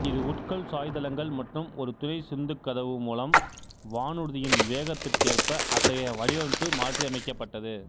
இரு உட்கொள் சாய்தளங்கள் மற்றும் ஒரு துணை சிந்துகதவு மூலம் வானூர்தியின் வேகத்திற்கேற்ப அத்தகைய வடிவமைப்பு மாற்றியமைக்கப்பட்டது